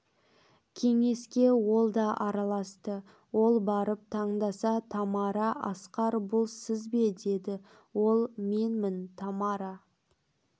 кеңеске ол да араласты ол барып тыңдаса тамара асқар бұл сіз бе деді ол менмін тамара